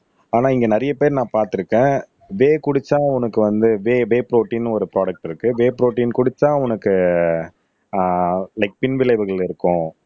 ஆனா இங்கே நிறைய பேர் நான் பார்த்திருக்கேன் டே குடிச்சா உனக்கு வந்து டே டே ப்ரோடீன்னு ஒரு ப்ரோடுக்ட் இருக்கு டே ப்ரோடீன் குடிச்சா உனக்கு ஆஹ் லைக் பின்விளைவுகள் இருக்கும்